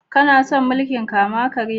Kana son mulki'n kama-karya?